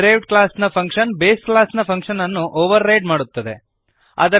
derived ಕ್ಲಾಸ್ನ function base ಕ್ಲಾಸ್ನ ಫಂಕ್ಶನ್ಅನ್ನು ಓವರ್ರೈಡ್ ಮಾಡುತ್ತದೆ